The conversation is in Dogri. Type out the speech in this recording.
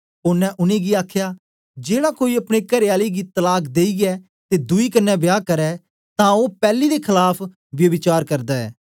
ओनें उनेंगी आखया जेड़ा कोई अपनी करेआली गी तलाक देईयै ते दुई कन्ने ब्या करै तां ओ पैली दे खलाफ ब्यभिचार करदा ऐ